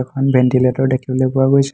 এখন ভেন্তিলেটৰ দেখিবলৈ পোৱা গৈছে।